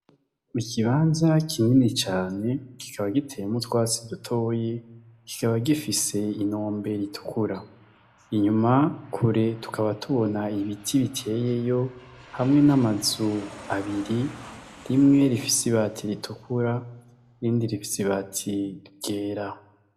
Ikibanza kinini cane kikaba giteyemwo utwatsi dutoyi kikaba gifise inombe itukura , inyuma kure tukaba tubona ibiti biteyeyo hamwe n’amazu abiri, imwe rifise ibati ritukura iyindi rifise ibati ryera.